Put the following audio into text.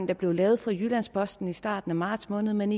der blev lavet for jyllands posten i starten af marts måned men